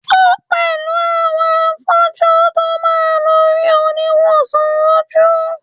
o pẹlú àwọn afọju to ma lo ri oniwosan oju